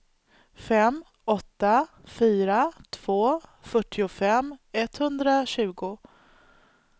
fem åtta fyra två fyrtiofem etthundratjugo